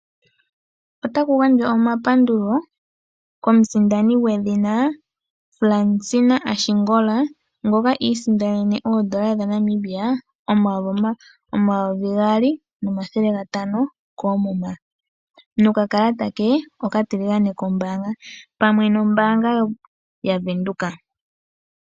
Otaku gandjwa omapandulo komusindani gwedhina Fransina Ashingola ngoka isindanene oodola dhaNamibia omayovi gaali nomathele gatano koomuna nokakalata ke okatiligane kombaanga pamwe nombaanga yavenduka.